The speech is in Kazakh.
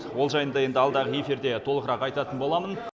ол жайында енді алдағы эфирде толығырақ айтатын боламын